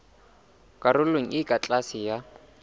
karolong e ka tlase ya